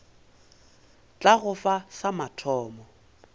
tla go fa sa mathomo